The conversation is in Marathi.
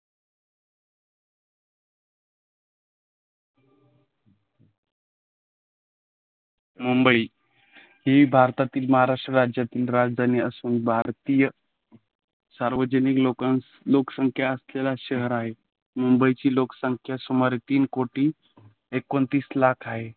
मुंबई ही भारतातील महाराष्ट्र राज्यातील राजधानी असून भारतीय सार्वजनिक लोकांची लोकसंख्या असलेला शहर आहे. मुंबईची लोकसंख्या सुमारे तीन कोटी एकोणतीस लाख आहे.